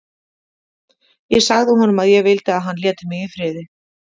Ég sagði honum að ég vildi að hann léti mig í friði.